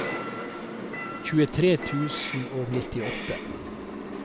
tjuetre tusen og nittiåtte